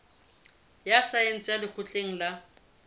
ya saense ya lekgotleng la